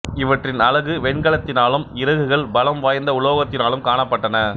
இவற்றின் அலகு வெண்கலத்தினாலும் இறகுகள் பலம் வாய்ந்த உலோகத்தினாலும் காணப்பட்டன